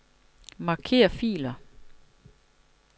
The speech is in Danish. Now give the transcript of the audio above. Marker filer.